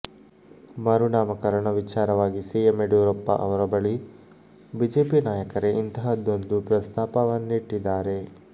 ಮರುನಾಮಕರಣ ವಿಚಾರವಾಗಿ ಸಿಎಂ ಯಡಿಯೂರಪ್ಪ ಅವರ ಬಳಿ ಬಿಜೆಪಿ ನಾಯಕರೇ ಇಂತಹದೊಂದು ಪ್ರಸ್ತಾಪನ್ನಿಟ್ಟಿದ್ದಾರೆ